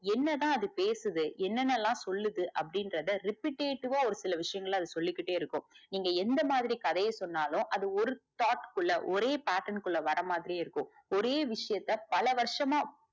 என்னதா அது பேசுதே என்னன்னலா சொல்லுது அப்டின்றத repitative வா ஒரு சில விஷயங்கள அது சொல்லிகிட்டே இருக்கும் நீங்க எந்த மாதிரி கதைய சொன்னாலும் அது ஒரு thought குள்ள ஒரே pattern குள்ள வரமாதிரியே இருக்கும் ஒரே விஷயத்த பல வருஷமா